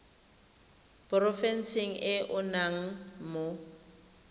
porofenseng e o nnang mo